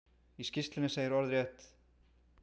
Í skýrslunni segir orðrétt:?